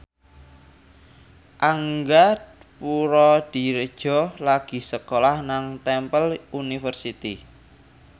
Angga Puradiredja lagi sekolah nang Temple University